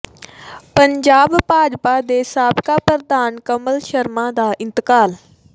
ਪੰਜਾਬ ਭਾਜਪਾ ਦੇ ਸਾਬਕਾ ਪ੍ਰਧਾਨ ਕਮਲ ਸ਼ਰਮਾ ਦਾ ਇੰਤਕਾਲ